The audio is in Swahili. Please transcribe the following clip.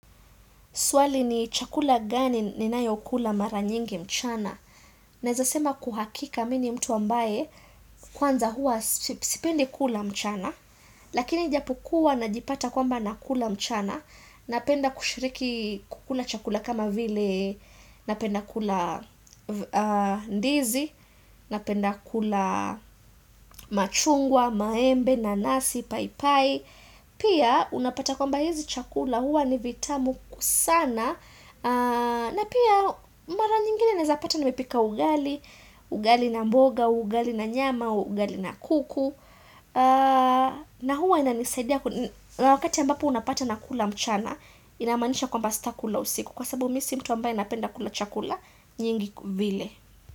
Swali ni chakula gani ninayo kula mara nyingi mchana. Naeza sema kwa uhakika mimi ni mtu ambaye kwanza huwa sipendi kula mchana. Lakini ijapokua najipata kwamba nakula mchana. Napenda kushiriki kukula chakula kama vile napenda kula ndizi. Napenda kula machungwa, maembe, nanasi, paipai. Pia unapata kwamba hizi chakula huwa ni vitamu sana. Na pia mara nyingine naeza pata nimepika ugali, ugali na mboga, ugali na nyama, ugali na kuku. Na huwa inanisaidia na wakati ambapo unapata nakula mchana inamaanisha kwamba sitakula usiku. Kwa sababu mimi si mtu ambaye napenda kula chakula nyingi vile.